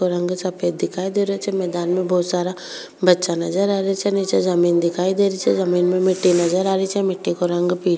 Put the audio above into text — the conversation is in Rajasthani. रंग सफ़ेद दिखाई दे रेहो छे मैदान में बहोत सारा बच्चा नजर आ रेहा छे निचे जमीन दिखाई दे री छे जमीं में मिट्टी नज़र आ री छे मिट्टी को रंग पी --